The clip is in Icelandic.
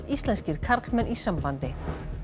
íslenskir karlmenn í sambandi